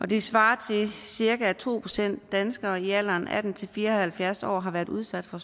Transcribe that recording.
det svarer til at cirka to procent danskere i alderen atten til fire og halvfjerds år har været udsat for